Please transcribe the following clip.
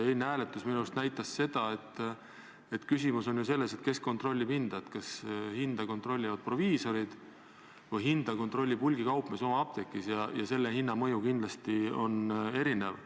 Eilne hääletus näitas minu arust seda, et küsimus on ju selles, kes kontrollib hinda, kas hinda kontrollivad proviisorid või kontrollib hulgikaupmees oma apteegis, ja hinnamõju on kindlasti erinev.